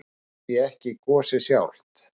Ég sé ekki gosið sjálft.